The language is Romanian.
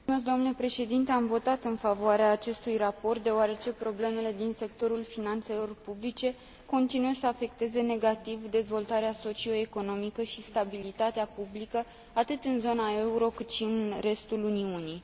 Am votat în favoarea acestui raport, deoarece problemele din sectorul finanțelor publice continuă să afecteze negativ dezvoltarea socioeconomică și stabilitatea politică, atât în zona euro, cât și în restul Uniunii.